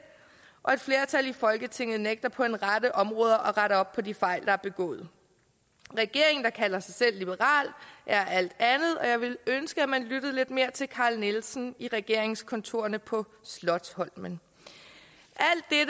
og et flertal i folketinget nægter på en række områder at rette op på de fejl der er begået regeringen der kalder sig selv liberal er alt andet og jeg ville ønske at man lyttede lidt mere til carl nielsen i regeringskontorerne på slotsholmen